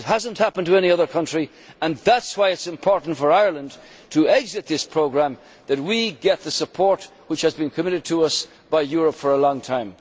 It has not happened to any other country, and that is why it is important for Ireland to exit this programme and that we get the support which has been committed to us by Europe for a long time.